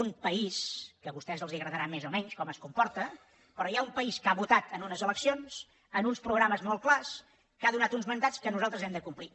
un país que a vostès els agradarà més o menys com es comporta que ha votat en unes eleccions amb uns programes molt clars que ha donat uns mandats que nosaltres hem de complir